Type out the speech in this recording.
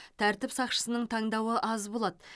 тәртіп сақшысының таңдауы аз болады